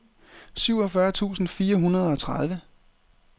syvogfyrre tusind fire hundrede og tredive